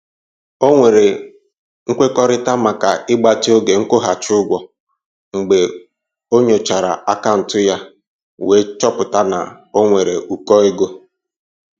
O nwere nkwekọrịta maka ịgbatị oge nkwụghachị ụgwọ mgbe ọ nyochara akaụntụ ya wee chọpụta na o nwere ụkọ ego.